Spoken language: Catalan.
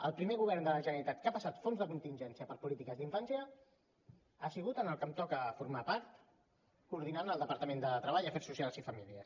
el primer govern de la generalitat que ha passat fons de contingència per polítiques d’infància ha sigut en el que em toca formar part coordinant el departament de treball afers socials i famílies